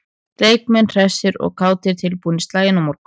Leikmenn hressir og kátir- tilbúnir í slaginn á morgun.